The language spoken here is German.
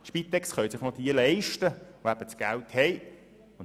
Die Spitex können sich noch jene leisten, die das Geld haben.